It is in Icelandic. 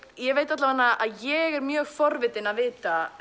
ég veit alla veganna að ég er mjög forvitin að vita